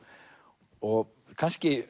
og kannski